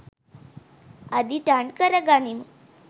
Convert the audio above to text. අදිටන් කර ගනිමු.